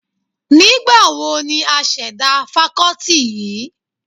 Nígbà wo ni a ṣẹ̀dá fakọ́tì yìí?